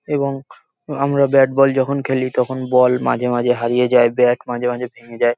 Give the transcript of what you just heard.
এবং আমরা bat ball যখন খেলি তখন বল মাঝে মাঝে হারিয়ে যায় ব্যাট মাঝে মাঝে ভেঙে যায়।